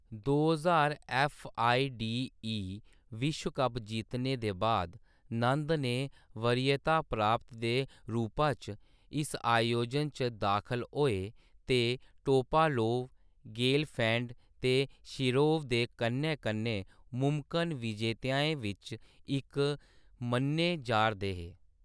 दो ज्हार F. I. D. E .विश्व कप जित्तने दे बाद नंद ने वरीयता प्राप्त दे रूपा च इस आयोजन च दाखल होए ते टोपालोव, गेलफैंड ते शिरोव दे कन्नै कन्नै मुमकन विजेताएं बिच्च इक मन्ने जा ’रदे हे।